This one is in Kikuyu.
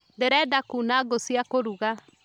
Ndĩrenda kuuna ngũya kũruga